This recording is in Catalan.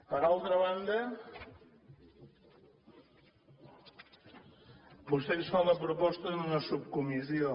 per alta banda vostè ens fa la proposta d’una subcomissió